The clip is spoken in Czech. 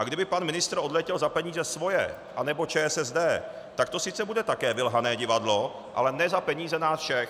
A kdyby pan ministr odletěl za peníze svoje nebo ČSSD, tak to sice bude také vylhané divadlo, ale ne za peníze nás všech.